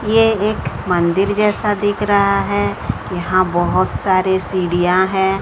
ये एक मंदिर जैसा दिख रहा है यहां बहुत सारे सीढ़ियां हैं।